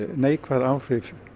neikvæð áhrif